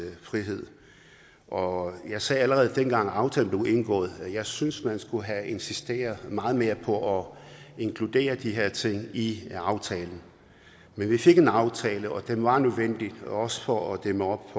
frihed og jeg sagde allerede dengang aftalen blev indgået at jeg synes man skulle have insisteret meget mere på at inkludere de her ting i aftalen men vi fik en aftale og den var nødvendig også for at dæmme op